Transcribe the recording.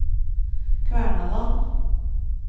Kvernaland